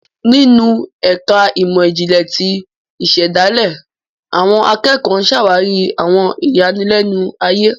Ninu ẹka imọ-jinlẹ ti isedale, awọn akẹkọ ǹ ṣawari awọn iyalẹnu aye